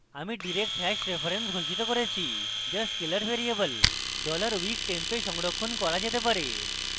আমি direct hash reference ঘোষিত করেছি যা scalar ভ্যারিয়েবল $weektemp a সংরক্ষণ করা যেতে পারে